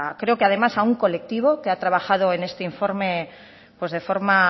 creo que además a un colectivo que ha trabajado en este informe pues de forma